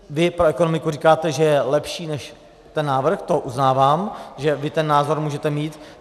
Vy pro ekonomiku říkáte, že je lepší než ten návrh, to uznávám, že vy ten názor můžete mít.